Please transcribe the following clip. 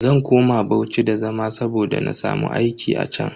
Zan koma Bauchi da zama saboda na samu aiki a chan.